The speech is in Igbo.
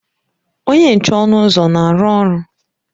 Onye nche ọnụ ụzọ na-arụ ọrụ?